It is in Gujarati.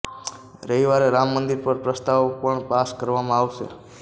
રવિવારે રામ મંદિર પર પ્રસ્તાવ પણ પાસ કરવામાં આવશે